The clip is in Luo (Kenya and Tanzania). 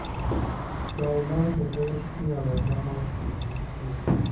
Chai ma oseted iolo e thamos mondo kik kwe